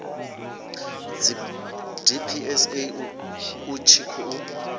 pfi dpsa u tshi khou